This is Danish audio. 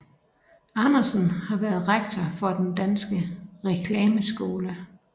Andersen har været rektor for Den Danske Reklameskole